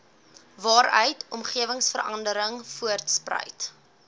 waaruit omgewingsverandering voortspruit